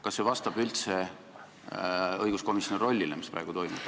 Kas see, mis praegu toimub, vastab üldse õiguskomisjoni rollile?